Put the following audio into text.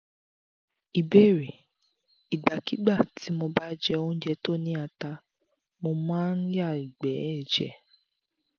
ìbéèrè: ìgbàkigbà tí mo bá jẹ oúnjẹ tó ni ata mo ma n ya igbe eje